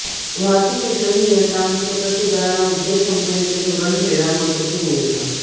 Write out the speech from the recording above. वाहतूक विश्वसनीयता सतत सुधारणा उद्देश कंपनीचे धोरण खेळला महत्वाची भूमिका